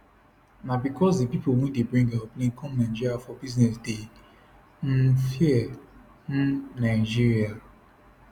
na becos di pipo wey dey bring aeroplane come nigeria for business dey um fear um nigeria